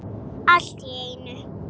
Allt í einu.